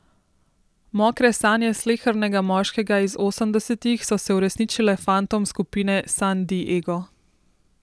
Mokre sanje slehernega moškega iz osemdesetih so se uresničile fantom skupine San Di Ego.